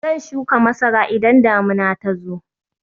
Zan shuka masara idan damuna ta zo